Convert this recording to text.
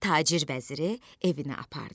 Tacir vəziri evinə apardı.